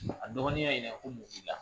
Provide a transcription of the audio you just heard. A dɔgɔnin y'a ɲininka ko mun b'i la